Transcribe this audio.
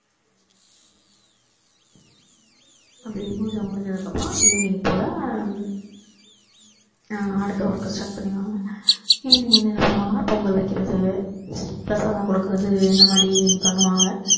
அந்த பூஜை முடிஞ்சதுக்கு அப்பறோம் evening போல ஆஹ் அடுத்த work க்கு start பண்ணிடுவாங்க evening வந்து என்ன பண்ணுவாங்கன்னா பொங்கல் வைக்கிறது பிரசாதம் கொடுக்கிறது இந்த மாதிரி evening பண்ணுவாங்க